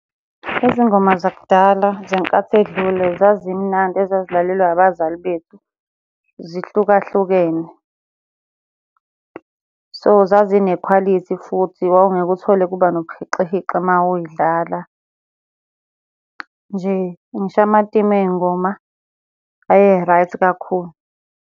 Izingoma zakudala zenkathi edlule zazimnandi ezazilalelwa abazali bethu zihlukahlukene. So, zazinekhwalithi futhi wawungeke uthole kuba nobuhixihixi uma uy'dlala. Nje ngisho amatimu ey'ngoma aye-right kakhulu.